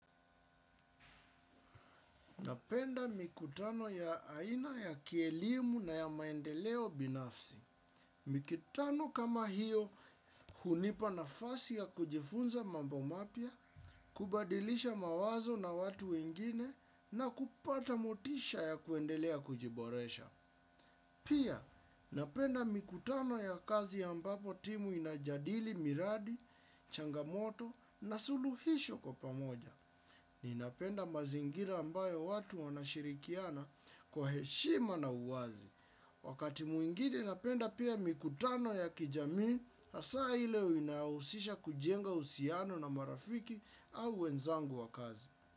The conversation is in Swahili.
Napenda mikutano ya aina ya kielimu na ya maendeleo binafsi. Mikutano kama hiyo hunipa nafasi ya kujifunza mambo mapya, kubadilisha mawazo na watu wengine na kupata motisha ya kuendelea kujiboresha. Pia, napenda mikutano ya kazi ya mbapo timu inajadili miradi, changamoto na suluhisho kwa pamoja. Ninapenda mazingira ambayo watu wanashirikiana kwa heshima na uwazi. Wakati mwingine napenda pia mikutano ya kijamii, hasa ile inayohusisha kujenga usiano na marafiki au wenzangu wa kazi.